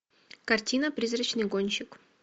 картина призрачный гонщик